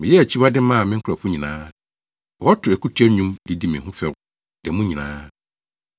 Meyɛɛ akyiwade maa me nkurɔfo nyinaa; wɔto akutia nnwom de di me ho fɛw da mu nyinaa.